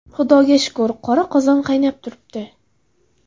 Xudoga shukr, qora qozon qaynab turibdi.